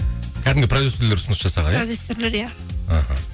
кәдімгі продюсерлер ұсыныс жасаған иә продюсерлер иә іхі